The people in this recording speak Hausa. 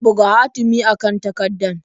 Buga hatimi a kan takardar.